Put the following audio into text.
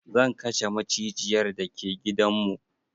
Zan kashe macijiyar da ke gidan mu.